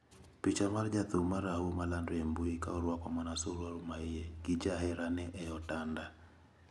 Picha mar Jathum marahuma landre e mbui kaoruako mana suruari maiye gi jaherane eotanda.